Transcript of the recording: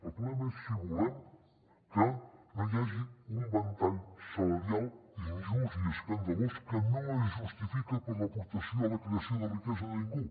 el problema és si volem que no hi hagi un ventall salarial injust i escandalós que no es justifica per l’aportació a la creació de riquesa a ningú